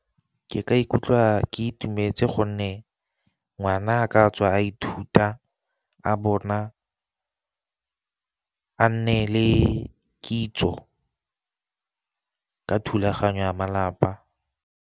Ke ka ikutlwa ke itumetse gonne ngwana a katswa a ithuta, a bona a nne le kitso ka thulaganyo ya malapa.